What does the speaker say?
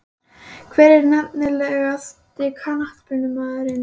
Hver er efnilegasti knattspyrnumaðurinn í dag?